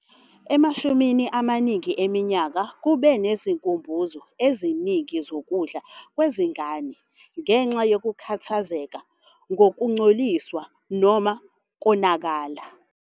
Emashumini amaningi eminyaka, kube nezikhumbuzo eziningi zokudla kwezingane ngenxa yokukhathazeka ngokungcoliswa noma ukonakala.